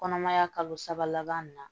Kɔnɔmaya kalo saba laban min na